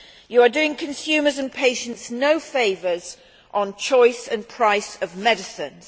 You are doing consumers and patients no favours on choice and price of medicines.